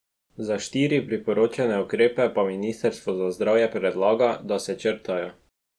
Za štiri priporočene ukrepe pa ministrstvo za zdravje predlaga, da se črtajo.